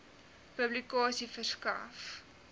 publikasie verskaf